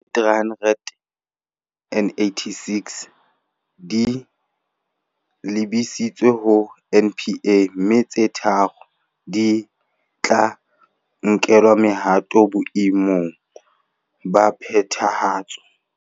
Tse 386 di lebisitswe ho NPA, mme tse tharo di tla nkelwa mohato boe mong ba phethahatso.